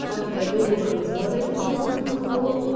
жаңағыдай договорыңыз болады айтып тұрған сатып алу